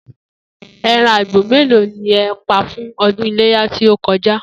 E̩ran àgbò mélòó ni e̩ pa fún o̩dún Iléyá tí ó ko̩já?